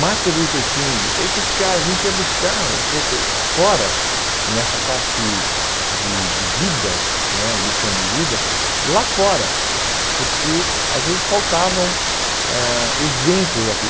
Martin Luther King, esses caras, a gente ia buscar um pouco fora, nessa parte de de vida né, lição de vida, lá fora, porque às vezes faltavam ãh exemplos aqui.